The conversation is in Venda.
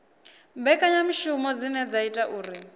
mbekanyamishumo dzine dza ita uri